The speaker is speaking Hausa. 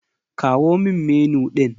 Kawo min Menu ɗin.